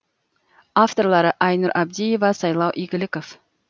авторлары айнұр абдиева сайлау игликов